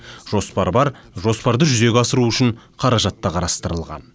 жоспар бар жоспарды жүзеге асыру үшін қаражат та қарастырылған